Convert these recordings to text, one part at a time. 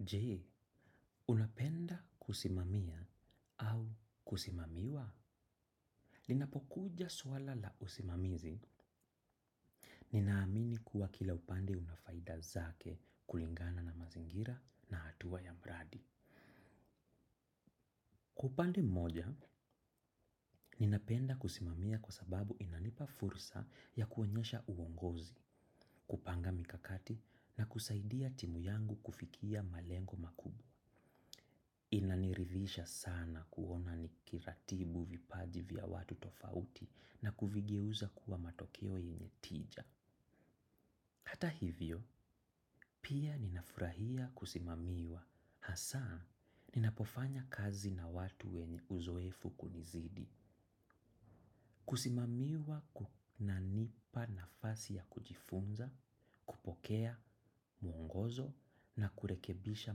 Je unapenda kusimamia au kusimamiwa. Linapokuja swala la usimamizi, ninaamini kuwa kila upande una faida zake kulingana na mazingira na hatua ya mradi. Upande mmoja, ninapenda kusimamia kwa sababu inanipa fursa ya kuonyesha uongozi, kupanga mikakati na kusaidia timu yangu kufikia malengo makubwa. Inaniridhisha sana kuona nikiratibu vipaji vya watu tofauti na kuvigeuza kuwa matokeo yenye tija. Hata hivyo, pia ninafurahia kusimamiwa. Hasa, ninapofanya kazi na watu wenye uzoefu kunizidi. Kusimamiwa kunanipa nafasi ya kujifunza, kupokea, mwongozo, na kurekebisha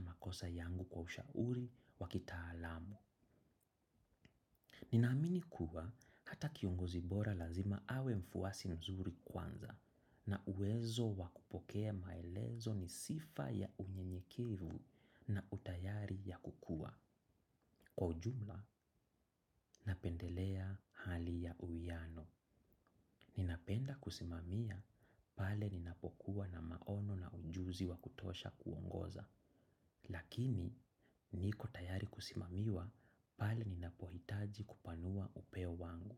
makosa yangu kwa ushauri wa kitaalamu. Ninaamini kuwa hata kiongozi bora lazima awe mfuasi mzuri kwanza na uwezo wa kupokea maelezo ni sifa ya unyenyekevu na utayari ya kukua. Kwa ujumla, napendelea hali ya uwiano. Ninapenda kusimamia, pale ninapokuwa na maono na ujuzi wa kutosha kuongoza. Lakini, niko tayari kusimamiwa, pale ninapohitaji kupanua upeo wangu.